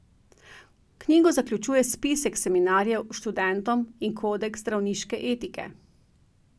Knjigo zaključuje spisek seminarjev študentom in kodeks zdravniške etike.